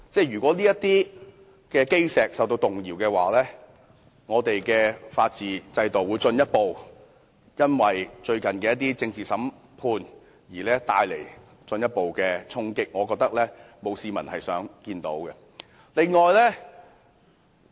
如果這些基石受到動搖，我們的法治制度亦將會繼最近的政治審判後，再次受到進一步衝擊，我覺得這並不是市民想看到的。